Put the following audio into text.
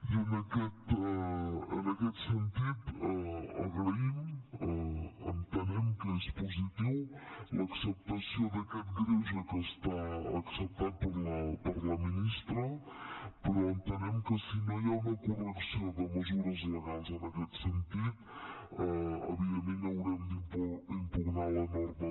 i en aquest sentit agraïm entenem que és positiu l’acceptació d’aquest greuge que està acceptat per la ministra però entenem que si no hi ha una correcció de mesures legals en aquest sentit evidentment haurem d’impugnar la norma